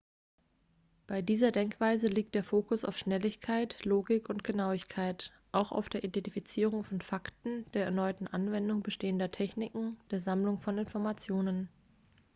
bei dieser denkweise liegt der fokus auf schnelligkeit logik und genauigkeit auch auf der identifizierung von fakten der erneuten anwendung bestehender techniken der sammlung von informationen